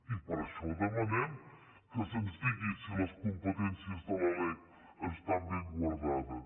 i per això demanem que se’ns digui si les competències de la lec estan ben guardades